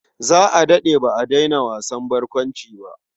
Za a daɗe ba a daina wasan barkwanci ba.